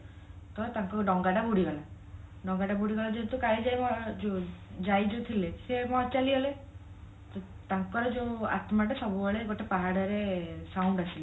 ତ ତାଙ୍କ ଡଙ୍ଗାଟା ବୁଡି ଗଲା ଡଙ୍ଗା ଟା ବୁଡିଗଲା ଯେହେତୁ କାଳିଜାଇ ଯାଇ ତ ଥିଲେ ସିଏ କଣ ଚାଲିଗଲେ ତ ତାଙ୍କର ଯୋଉ ଆତ୍ମାଟା ସବୁବେଳେ ଗୋଟେ ପାହାଡରେ ସମାବେଶିତ